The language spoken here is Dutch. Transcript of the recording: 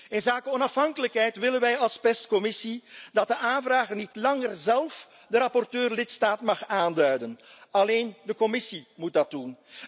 Voor wat onafhankelijkheid betreft, willen wij als commissie dat de aanvrager niet langer zelf de rapporteur lidstaat mag aanduiden alleen de Commissie mag dat doen.